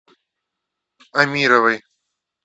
амировой